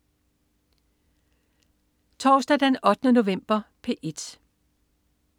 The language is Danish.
Torsdag den 8. november - P1: